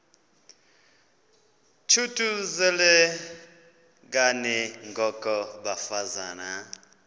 thuthuzelekani ngoko bafazana